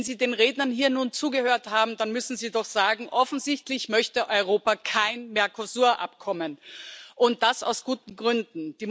Wenn Sie den Rednern hier nun zugehört haben, dann müssen Sie doch sagen Offensichtlich möchte Europa kein Mercosur Abkommen, und das aus guten Gründen.